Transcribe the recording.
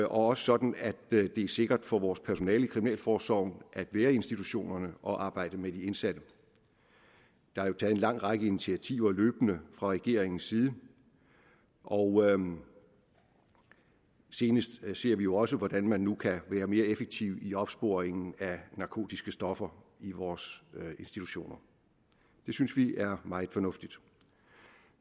også sådan at det er sikkert for vores personale i kriminalforsorgen at være i institutionerne og arbejde med de indsatte der er jo taget en lang række initiativer løbende fra regeringens side og senest ser vi jo også hvordan man nu kan være mere effektiv i opsporing af narkotiske stoffer i vores institutioner det synes vi er meget fornuftigt